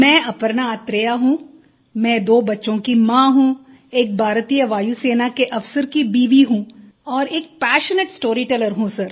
मैं अपर्णा अथरेया हूँ मैं दो बच्चों की माँ हूँ एक भारतीय वायुसेना के अफसर की बीवी हूँ और एक पैशनेट स्टोरीटेलर हूँ सर